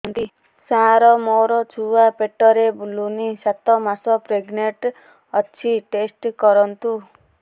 ସାର ମୋର ଛୁଆ ପେଟରେ ବୁଲୁନି ସାତ ମାସ ପ୍ରେଗନାଂଟ ଅଛି ଟେଷ୍ଟ କରନ୍ତୁ